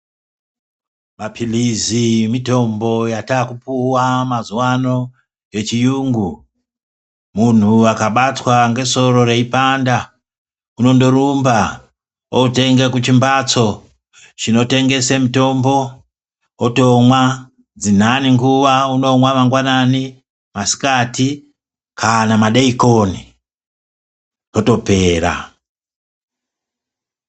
Mapilizi mitombo yatakupuwa mazuwano yechiyungu muntu akabatwa ngesoro reipanda unondorumba otenge kuchimbatso chotengese mutombo otomwa dzinani nguwa unomwa mangwanani, masikati kana madekoni zvotopera.